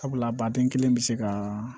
Sabula baden kelen bɛ se ka